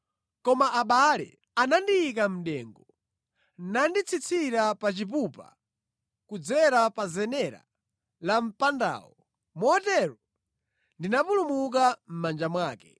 Koma abale anandiyika mʼdengu nanditsitsira pa chipupa kudzera pa zenera la mpandawo, motero ndinapulumuka mʼmanja mwake.